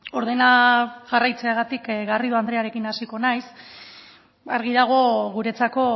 ordena jarraitzeagatik garrido andrearekin hasiko naiz argi dago guretzako